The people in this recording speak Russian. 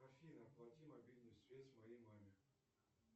афина оплати мобильную связь моей маме